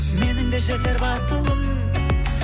менің де жетер батылым